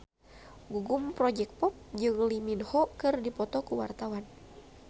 Gugum Project Pop jeung Lee Min Ho keur dipoto ku wartawan